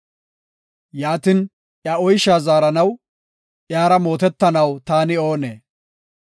Yaatin, iya oysha zaaranaw, iyara mootetanaw taani oonee?